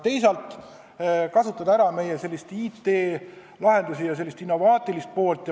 Teisalt saaks ära kasutada meie IT-lahendusi, meie sellist innovaatilist taset.